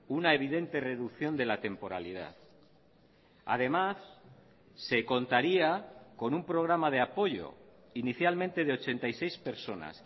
una evidente reducción de la temporalidad además se contaría con un programa de apoyo inicialmente de ochenta y seis personas